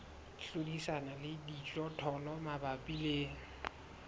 hlodisana le dijothollo mabapi le